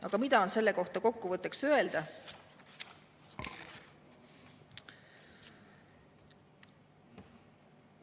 Aga mida on kokkuvõtteks öelda?